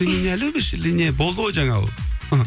ты меня любишь или нет болды ғой жаңа ол